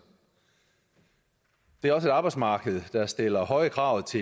det er også et arbejdsmarked der stiller høje krav